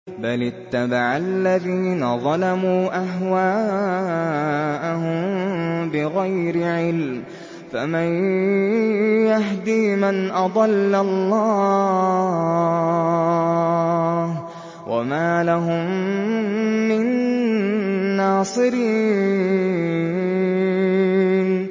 بَلِ اتَّبَعَ الَّذِينَ ظَلَمُوا أَهْوَاءَهُم بِغَيْرِ عِلْمٍ ۖ فَمَن يَهْدِي مَنْ أَضَلَّ اللَّهُ ۖ وَمَا لَهُم مِّن نَّاصِرِينَ